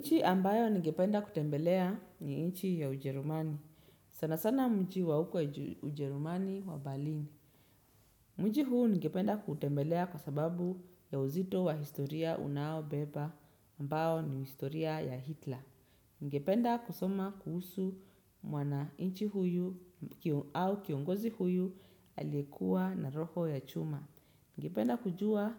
Nchi ambayo ningependa kutembelea ni nchi ya Ujerumani. Sana sana mji wa huko Ujerumani wa Berlin. Mji huu ningependa kuutembelea kwa sababu ya uzito wa historia unaobeba ambayo ni historia ya Hitler. Ningependa kusoma kuhusu mwananchi huyu au kiongozi huyu aliyekuwa na roho ya chuma. Ningependa kujua